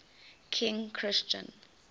king christian